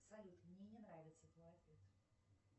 салют мне не нравится твой ответ